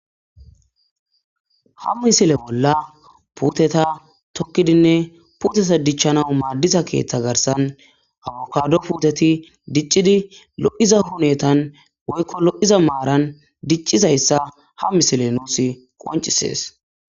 Ha misila bollan putetha tokkidinne putetha dicchanaw maadiza keetta garsan Abokaado putethi dicchidi lo'ittza hunetan woyko lo'izza maaran dicchiza issa ha misile nuusikko besees.